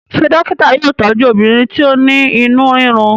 ṣe dókítà yóò tọju obìnrin ti o ní inú rirun?